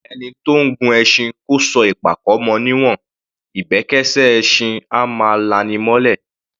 Ẹni tó ńgun ẹṣin kó sọ ìpàkọ́ mọ ní'wọ̀n; ìbẹ́kẹ́ṣẹ́ ẹṣin á máa la’ni mọ́’lẹ̀.